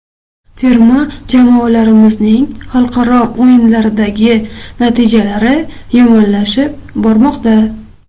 Terma jamoalarimizning xalqaro o‘yinlardagi natijalari yomonlashib bormoqda.